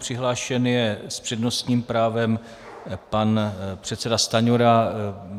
Přihlášen je s přednostním právem pan předseda Stanjura.